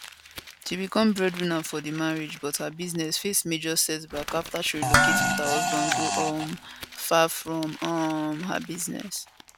she become breadwinner for di marriage but her business face major setback afta she relocate wit her husband go um far from um her business